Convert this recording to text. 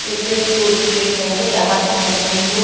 ये तो एक टूरिस्ट प्लेस है। यहां तो वेलकम टू --